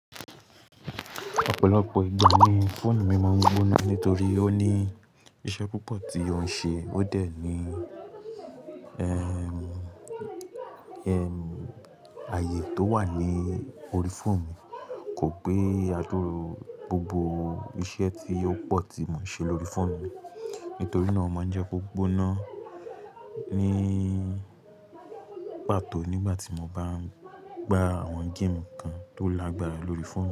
Ọ̀pọ̀lọpọ̀ ìgbà ni fóònù mi máa ń gbóná nítorí ó ní iṣẹ́ púpọ̀ tí ó ń ṣe. Ó dẹ̀ ní, ẹm, ẹm, ààyè tó wà ní orí fóònù kò gbé àdúru gbogbo iṣẹ́ tí ó pọ̀ tí mò ń ṣe lórí fóònù mi. Nítorí náà ó máa ń jẹ́ kó gbóná ní pàtó nígbà tí mo bá ń gbá àwọn game kan tó lágbára lórí fóònù mi.